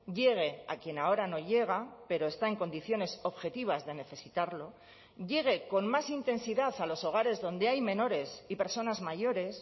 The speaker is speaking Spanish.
llegue a quien ahora no llega pero está en condiciones objetivas de necesitarlo llegue con más intensidad a los hogares donde hay menores y personas mayores